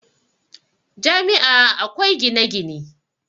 Jami' a akwai gine-gine